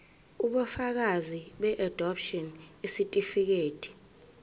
ubufakazi beadopshini isitifikedi